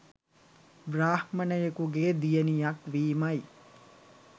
බ්‍රාහ්මණයෙකුගේ දියණියක් වීමයි